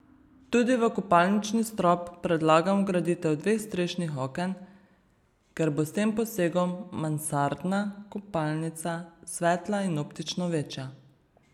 Tudi v kopalnični strop predlagam vgraditev dveh strešnih oken, ker bo s tem posegom mansardna kopalnica svetla in optično večja.